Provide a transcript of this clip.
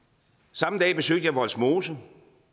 samme dag besøgte jeg vollsmose